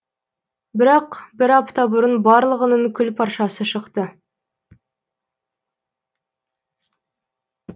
бірақ бір апта бұрын барлығының күл паршасы шықты